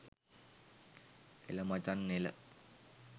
එළ මචන් එළ